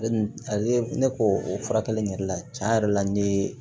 ne ko o furakɛli in yɛrɛ la tiɲɛ yɛrɛ la n ye